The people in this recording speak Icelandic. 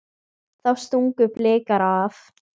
Þá stungu Blikar af.